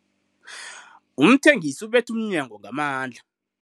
Umthengisi ubethe umnyango ngamandla.